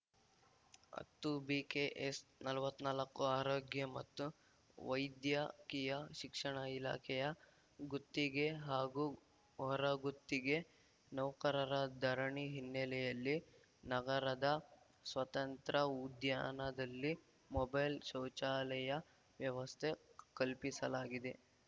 ಹತ್ತು ಬಿಕೆಎಸ್‌ ನಲವತ್ ನಾಲ್ಕು ಆರೋಗ್ಯ ಮತ್ತು ವೈದ್ಯಕೀಯ ಶಿಕ್ಷಣ ಇಲಾಖೆಯ ಗುತ್ತಿಗೆ ಹಾಗೂ ಹೊರಗುತ್ತಿಗೆ ನೌಕರರ ಧರಣಿ ಹಿನ್ನೆಲೆಯಲ್ಲಿ ನಗರದ ಸ್ವತಂತ್ರ್ಯ ಉದ್ಯಾನದಲ್ಲಿ ಮೊಬೈಲ್‌ ಶೌಚಾಲಯ ವ್ಯವಸ್ಥೆ ಕಲ್ಪಿಸಲಾಗಿದೆ